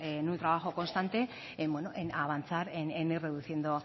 en un trabajo constante en avanzar en ir reduciendo